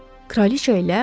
Kraliça ilə?